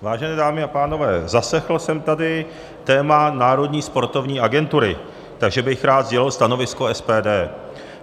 Vážené dámy a pánové, zaslechl jsem tady téma Národní sportovní agentury, takže bych rád sdělil stanovisko SPD.